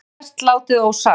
Sumt er best látið ósagt